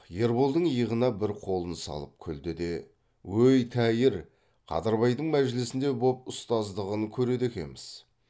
ерболдың иығына бір қолын салып күлді де өй тәйір қадырбайдың мәжілісінде боп ұстаздығын көреді екеміз